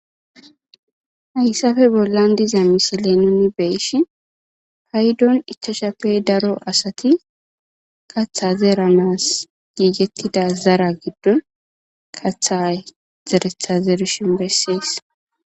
Hayssafe bollan diza misile nuni beeshi paydon ichashappey daro asati katha zeeranas giigettida zara giddon katha zeretha zeerishin bessees.